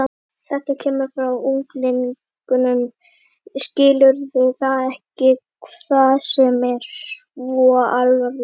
Þetta kemur frá unglingunum, skilurðu, það er það sem er svo alvarlegt.